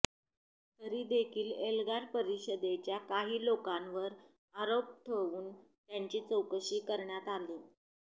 तरी देखील एल्गार परिषदेच्या काही लोकांवर आरोप ठवून त्यांची चौकशी करण्यात आली